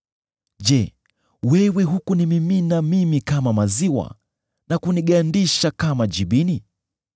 Je, wewe hukunimimina mimi kama maziwa, na kunigandisha kama jibini,